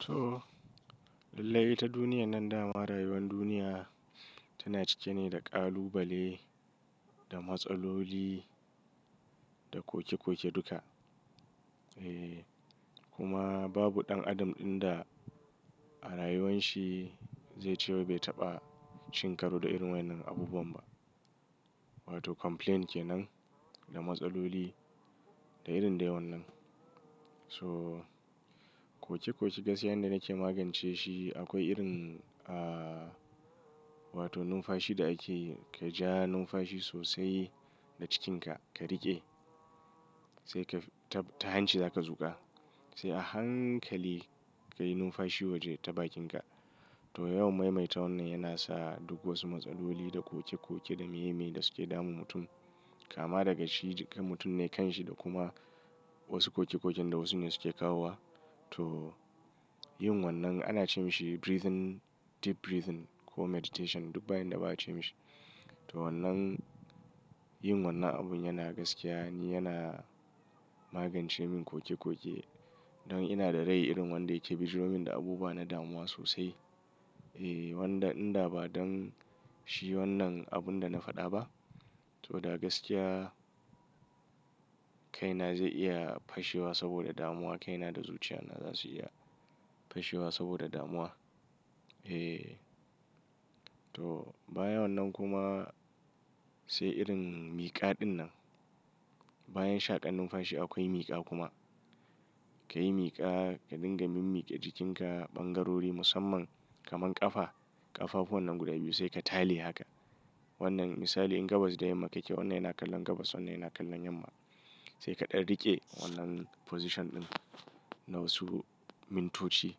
To, lallai ta duniyan nan da rayuwan duniya tana cike ne da kalubale da matsaloli da koke-koke duka. Eh, kuma babu ɗan adam ɗin da a rayuwan shi zai ce wai bai taɓa cin karo da irin wannan abubuwan ba. Wato complaint ke nan da matsaloli da irin dai wannan. So, koke-koke gaskiyan da nake magance shi akwai irin, wato numfashi da ake ka ja numfashi sosai da cikinka ka riƙe sai ka fitar ta hanci zaka zuka. Sai a hankali ka yi numfashi waje ta bakinka. To yawan maimaita wannan yana sa duk wasu matsaloli da koke-koke da meye-meye da suke damun mutum kama daga shi mutum ne kanshi da kuma wasu koke-koken da wasu ne suke kawowa. To yin wannan ana ce mashi breathing, deep breathing ko meditation duk bayin da ba a ce mashi. To wannan, yin wannan abun yana gaskiya ne yana magance min koke-koke don ina da rai irin wanda yake bijirmin da abubuwa na damuwa sosai. Eh, wanda inda ba don shi wannan abun da na faɗa ba, to da gaskiya kaina zai iya fashewa saboda damuwa, kaina da zuciyana za su iya fashewa saboda damuwa. Eh. To baya wannan kuma, sai irin miƙa ɗin nan. Bayan shaƙan numfashi akwai miƙa kuma. Ka yi miƙa, ka dinga mimmiƙe cikinka ɓangarori musamman kamar ƙafa, ƙafafu wannan guda biyu sai ka tali haka. Wannan misali in gabas da yamma ka ke wannan yana kallon gabas wannan yana kallon yamma. Sai kaɗa riƙe wannan position ɗin na wasu mintoci.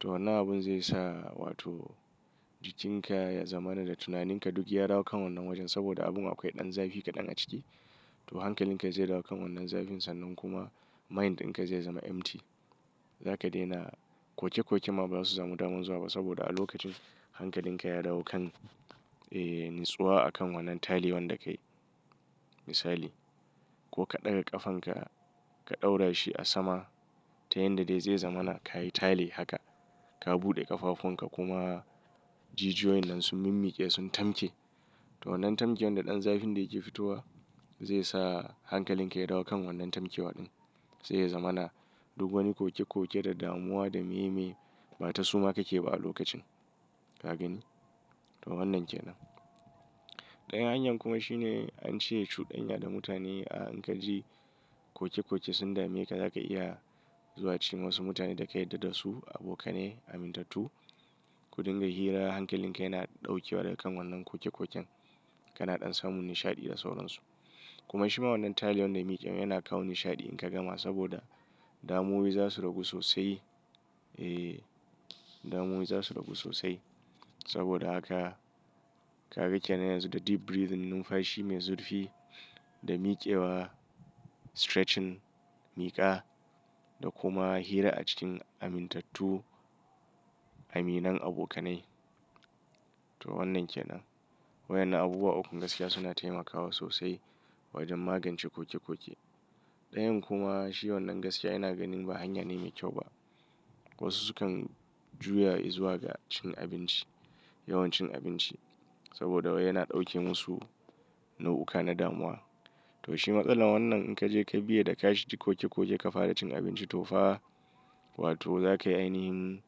To wannan abun zai sa wato jikinka ya zama na da tunaninka duk ya dawo kan wannan wajen saboda abun akwai ɗan zafi kaɗan a ciki. To hankalinka zai dawo kan wannan zafin sannan kuma mind ɗinka zai zama empty. Zaka daina koke-koke ma ba za su zamo damun zuwa ba saboda a lokacin hankalinka ya dawo kan, eh, nutsuwa a kan wannan tali wanda ka yi misali. Ko ka ɗaga ƙafanka ka ɗaura shi a sama ta yanda dai zai zama na ka yi tale haka. Ka buɗe ƙafafunka kuma jijiyoyin nan su mimmiƙe sun tamke. To wannan tamken da ɗan zafin da yake fitowa zai sa hankalinka ya dawo kan wannan tamke waɗin. Zai zama na duk wani koke-koke da damuwa da meye-meye ba ta suma ka ke ba a lokacin. Ka gani? To wannan ke nan. Ɗayan hanyar kuma shine an ce cudanya da mutane. A in ka ji koke-koke sun dame ka zaka iya zuwa ci wasu mutane da ka yarda da su abokanai, amintattu. Ku dinga hira hankalinka yana ɗaukewa daga wannan koke-koken. Kana ɗan samun nishaɗi da sauran su. Kuma shi ma wannan talewan da miƙewan yana kawo nishaɗi in ka gama saboda damuwai za su ragu sosai. Eh, damuwai za su ragu sosai saboda haka ka ga kenan yanzu da deep breathing numfashi mai zurfi da miƙewa, stretching miƙa da kuma hira a cikin amintattu, aminan abokanai. To wannan ke nan. Waɗannan abubuwa ukun gaskiya suna taimakawa sosai wajen magance koke-koke. Ɗayan kuma shi wannan gaskiya ina ganin ba hanya ne mai kyau ba. Wasu sukan juya izuwa ga cin abinci, yawan cin abinci saboda yana ɗauke musu nau'uka na damuwa. To shi matsalar wannan in ka je ka biye da ka shi koke-koke ka fara cin abinci to fa wato za ka yi ainihi,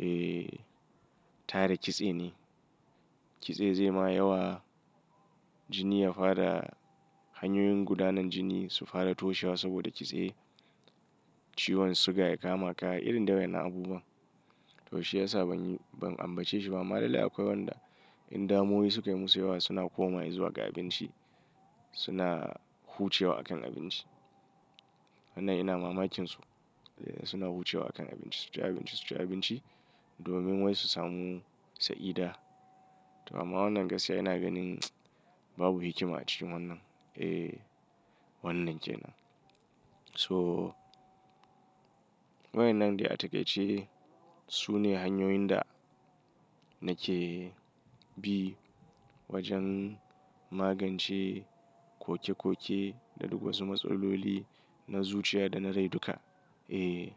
eh, tare kitse ne. Kitse zai ma yawa jini ya fara hanyoyin gudanar jini su fara toshewa saboda kitse ciwon suga ya kama ka irin dai yana abubuwan. To shi ya sa ban ambaci shi ba. Ama lalai akwai wanda in damuwai suka yi musu yawa suna koma izuwa ga abinci. Suna hucewa a kan abinci. Wannan ina mamakin su. Eh, suna hucewa a kan abinci. Su ci abinci, su ci abinci domin wai su samu sa'ida. To amma wannan gaskiya ina ganin babu hikima a cikin wannan. Eh, wannan ke nan. So, waɗannan ɗai a taƙaice su ne hanyoyin da nake bi wajen magance koke-koke da duk wasu matsaloli na zuciya da na rai duka. Eh.